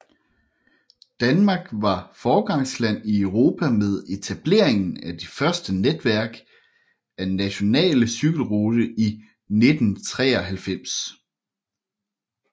Danmark var foregangsland i Europa med etableringen af det første netværk af nationale cykelrute i 1993